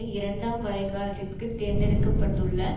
இரண்டாம் வரைகாலத்திற்கு தேர்ந்தெடுக்க பட்டுள்ள